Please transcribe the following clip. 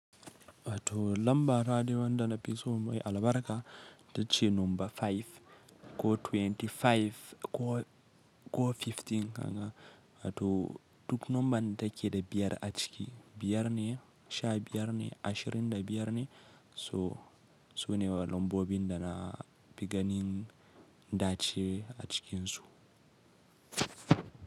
Wato lamba nadai wanda na fi so mai albarka, itace nomba 5 ko 25 ko, ko 15 kaga, hato duk nomban da ke da biyar a ciki, biyar ne, sha biyar ne, ashirin da biyar ne. So su ne lambobin da na fi ganin dace a cikinsu.